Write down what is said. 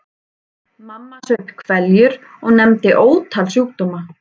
Mamma saup hveljur og nefndi ótal sjúkdóma.